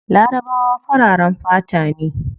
Larabawa fararen fata ne